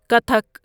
Kathak